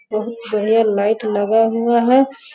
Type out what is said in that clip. बहुत बढ़िया लाइट लगा हुआ है।